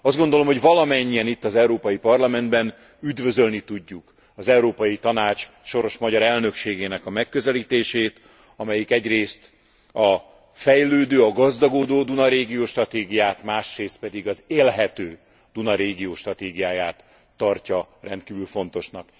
Az gondolom, hogy valamennyien itt az Európai Parlamentben üdvözölni tudjuk az Európai Tanács soros magyar elnökségének a megközelítését, amelyik egyrészt a fejlődő, a gazdagodó Duna régió stratégiáját, másrészt pedig az élhető Duna régió stratégiáját tartja rendkívül fontosnak.